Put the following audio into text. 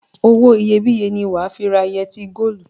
Owó iyebíye ni wà á fi ra yẹtí góólù.